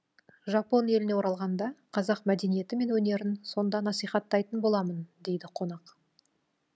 жапон еліне оралғанда қазақ мәдениеті мен өнерін сонда насихаттайтын боламын дейді қонақ